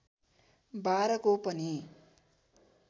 १२ को पनि